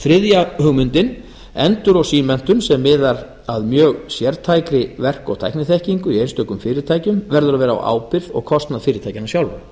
þriðja endur og eftirmenntun sem miðar að mjög sértækri verk og tækniþekkingu í einstökum fyrirtækjum verður að vera á ábyrgð og kostnað fyrirtækjanna sjálfra